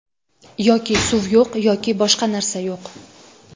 Yoki suv yo‘q, yoki boshqa narsa yo‘q.